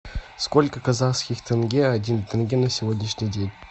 сколько казахских тенге один тенге на сегодняшний день